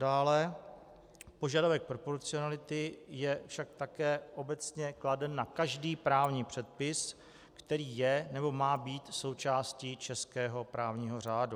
Dále požadavek proporcionality je však také obecně kladen na každý právní předpis, který je nebo má být součástí českého právního řádu.